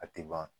A tɛ ban